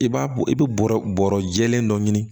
I b'a bɔ i bɛ bɔrɔ bɔrɔ jɛlen dɔ ɲini